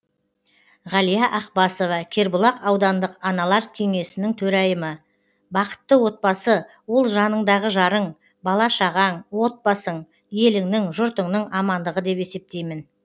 ғалия ақбасова кербұлақ аудандық аналар кеңесінің төрайымы бақытты отбасы ол жаныңдағы жарың бала шағаң отбасың еліңнің жұртыңның амандығы деп есептеймін